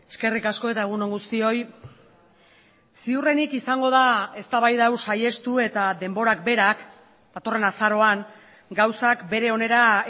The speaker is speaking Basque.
eskerrik asko eta egun on guztioi ziurrenik izango da eztabaida hau saihestu eta denborak berak datorren azaroan gauzak bere onera